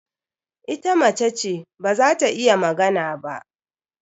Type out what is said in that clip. Ita mace ce, ba za ta iya magana ba.